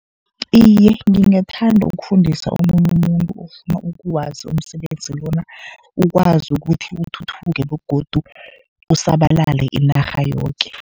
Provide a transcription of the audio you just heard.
Iye, ngingathanda ukufundisa omunye umuntu ofuna ukuwazi umsebenzi lona. Ukwazi ukuthi uthuthuke begodu usabalale inarha yoke.